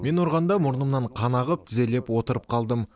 мені ұрғанда мұрнымнан қан ағып тізерлеп отырып қалдым